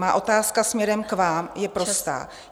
Má otázka směrem k vám je prostá.